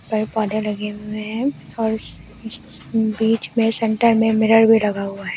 पर पौधे लगे हुए हैं और बीच में सेंटर में मिरर भी लगा हुआ है।